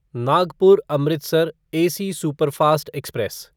Nagpur Amritsar AC superfast express